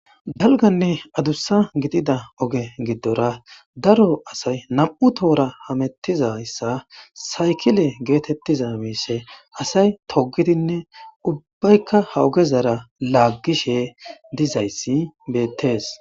Dalganne adusa gidida oge gidora daro asay nam'u tora hamutizayissa saykile getetizaa mishshe assay togidinne ubayikka ha ogezara lagishshe dizayissi bettes